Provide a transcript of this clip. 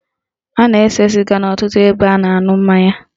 A na-ese sịga n'ọtụtụ ebe a na-aṅụ mmanya